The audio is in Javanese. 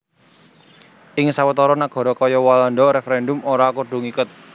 Ing sawetara nagara kaya Walanda referendum ora kudu ngiket